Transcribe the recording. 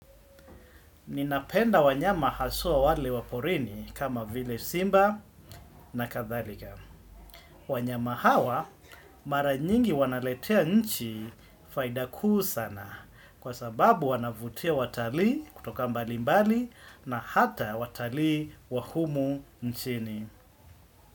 Ninapenda wanyama haswa wale wa porini kama vile simba na kadhalika. Wanyama hawa mara nyingi wanaletea nchi faida kuu sana kwa sababu wanavutia watalii kutoka mbalimbali na hata watali wa humu nchini.